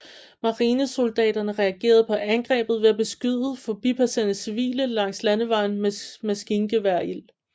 Marinesoldaterne reagerede på angrebet ved at beskyde forbipasserende civile langs landevejen med maskingeværild